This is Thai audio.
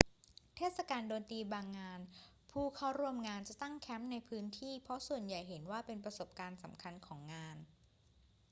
เทศกาลดนตรีบางงาน ผู้เข้าร่วมงานจะตั้งแคมป์ในพื้นที่ เพราะส่วนใหญ่เห็นว่าเป็นประสบการณ์สำคัญของงาน